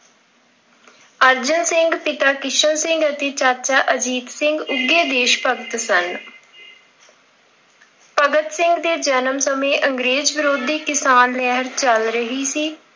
ਅਰਜਨ ਸਿੰਘ, ਪਿਤਾ ਕਿਸ਼ਨ ਸਿੰਘ ਅਤੇ ਚਾਚਾ ਅਜੀਤ ਸਿੰਘ ਉੱਘੇ ਦੇਸ਼ ਭਗਤ ਸਨ। ਭਗਤ ਸਿੰਘ ਦੇ ਜਨਮ ਸਮੇਂ ਅੰਗਰੇਜ਼ ਵਿਰੋਧੀ ਕਿਸਾਨ ਲਹਿਰ ਚੱਲ ਰਹੀ ਸੀ।